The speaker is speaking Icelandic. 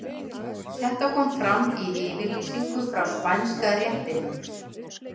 Þetta kom fram í yfirlýsingu frá Spænska réttinum.